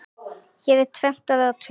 Hér er tvennt að athuga.